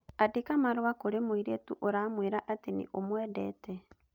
Andĩka marũa kũrĩ mũirĩtu ũramwĩra atĩ nĩ ũmwendete.